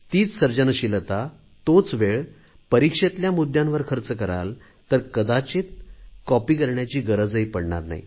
तीच सर्जनशीलता तोच वेळ ती परीक्षेतल्या मुद्यावर खर्च कराल तर कदाचित कॉपी करण्याची गरजही पडणार नाही